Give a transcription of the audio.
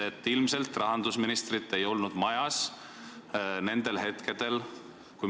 Sest ilmselt rahandusministrit ei olnud teatud hetkedel majas.